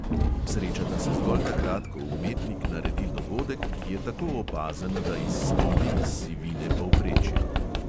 Srečata se zgolj takrat, ko umetnik naredi dogodek, ki je tako opazen, da izstopi iz sivine povprečja.